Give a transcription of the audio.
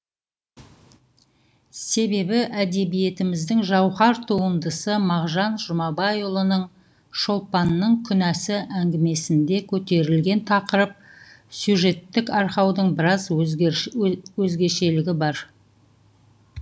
себебі әдебиетіміздің жауһар туындысы мағжан жұмабайұлының шолпанның күнәсі әңгімесінде көтерілген тақырып сюжеттік арқаудың біраз өзгешелігі бар